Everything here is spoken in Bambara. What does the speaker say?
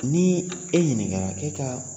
Ni e ɲininkara e ka